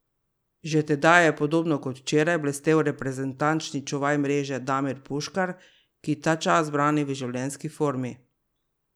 Že tedaj je, podobno kot včeraj, blestel reprezentančni čuvaj mreže Damir Puškar, ki ta čas brani v življenjski formi.